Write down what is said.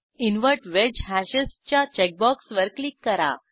invert wedge hashes च्या चेकबॉक्सवर click करा